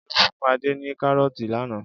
Olú fún Adé ní kárọ́tì lánàá.